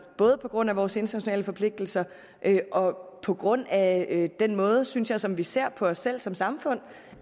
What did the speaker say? både på grund af vores internationale forpligtelser og på grund af den måde synes jeg som vi ser på os selv på som samfund